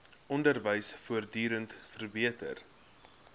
onderwys voortdurend verbeter